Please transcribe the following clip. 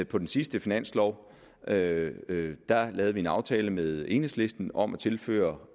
på den sidste finanslov lavede vi en aftale med enhedslisten om at tilføre